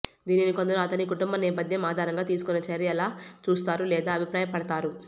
దీనిని కొందరు అతని కుటుంబ నేపథ్యం ఆధారంగా తీసుకున్న చర్యలా చూస్తారు లేదా అభిప్రాయ పడతారు